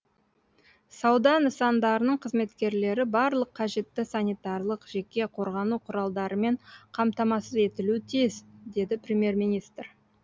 сауда нысандарының қызметкерлері барлық қажетті санитарлық жеке қорғану құралдарымен қамтамасыз етілуі тиіс деді премьер министр